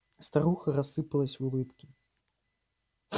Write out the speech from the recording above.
старуха расплылась в улыбке